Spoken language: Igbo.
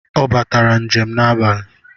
Ọ batara njem n'abali